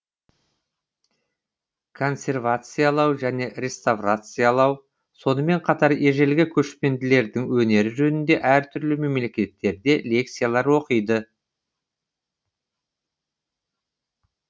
консервациялау және реставрациялау сонымен қатар ежелгі көшпенділердің өнері жөнінде әртүрлі мемлекеттерде лекциялар оқиды